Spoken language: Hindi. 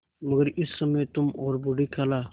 मगर इस समय तुम और बूढ़ी खाला